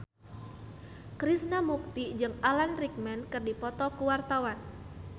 Krishna Mukti jeung Alan Rickman keur dipoto ku wartawan